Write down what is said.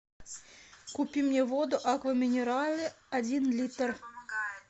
купи мне воду аква минерале один литр